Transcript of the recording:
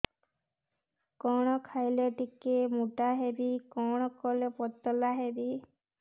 କଣ ଖାଇଲେ ଟିକେ ମୁଟା ହେବି କଣ କଲେ ପତଳା ହେବି